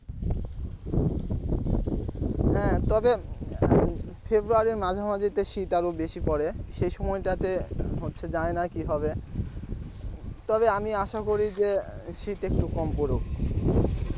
হ্যাঁ তবে february র মাঝামাঝিতে শীত আরো বেশি পড়ে সেই সময়টাতে হচ্ছে জানিনা কি হবে তবে আমি আশা করি যে শীত একটু কম পড়ুক।